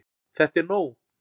ÞETTA ER NÓG!